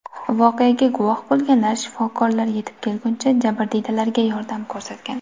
Voqeaga guvoh bo‘lganlar shifokorlar yetib kelguncha jabrdiydalarga yordam ko‘rsatgan.